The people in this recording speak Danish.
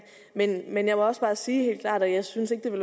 men jeg må også bare sige helt klart at jeg synes ikke at det